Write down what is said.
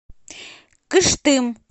кыштым